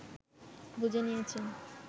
বুঝে নিয়েছেন